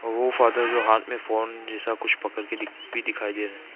ओ father जो हाथ में फोन जैसा कुछ पकड़ के भी दिखाई दे रहे हैं।